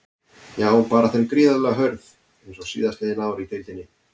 Já baráttan er gríðarlega hörð eins og síðastliðin ár í deildinni.